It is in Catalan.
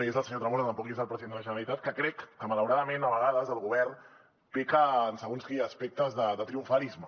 no hi és el senyor tremosa tampoc hi és el president de la generalitat que crec que malauradament a vegades el govern peca en segons quins aspectes de triomfalisme